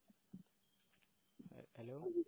hello